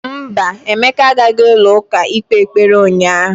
Mba, Emeka agaghị ụlọ ụka ịkpe ekpere ụnyahụ.